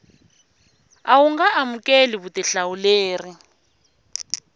a wu nga amukeli vutihlamuleri